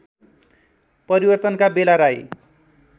परिवर्तनका बेला राई